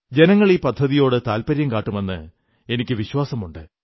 ജനങ്ങൾ ഈ പദ്ധതിയോടു താത്പര്യം കാട്ടുമെന്ന് എനിക്കു വിശ്വാസമുണ്ട്